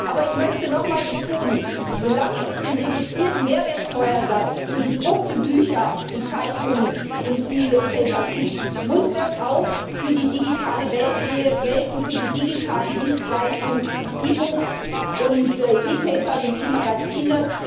Aber ich möchte noch mal betonen Solange es den reduzierten Mehrwertsteuersatz für gedruckte Bücher und Zeitungen gibt, muss das auch für die digitale Welt gelten, für die digitalen Dienstleistungen wie e books, e papers und e magazines.